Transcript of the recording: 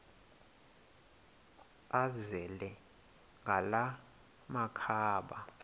azele ngala makhaba